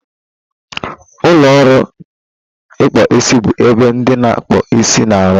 Ụlọ ọrụ ịkpụ isi bụ ebe ndị na-akpụ isi na-arụ.